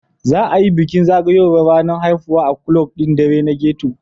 Za a yi bukin zagayowar ranar haihuwa a ƙulab ɗin ɗare na ghetto.